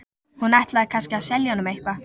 Hún ætlaði kannski að selja honum eitthvað.